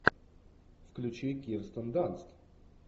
включи кирстен данст